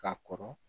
Ka kɔrɔ